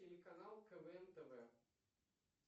телеканал квн тв